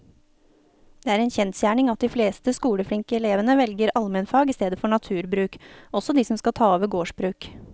Det er en kjensgjerning at de fleste skoleflinke elevene velger allmennfag i stedet for naturbruk, også de som skal ta over gårdsbruk.